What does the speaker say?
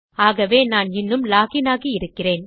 ஆகவே நான் இன்னும் லாக் இன் ஆகி இருக்கிறேன்